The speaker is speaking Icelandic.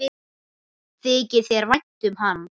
Þykir þér vænt um hann?